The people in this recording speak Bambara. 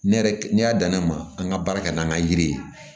Ne yɛrɛ ne y'a dan ne ma an ka baara kɛ n'an ka yiri ye